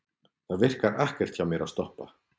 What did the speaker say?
Það virkar ekkert hjá mér að stoppa.